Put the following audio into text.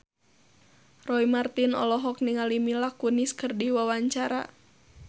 Roy Marten olohok ningali Mila Kunis keur diwawancara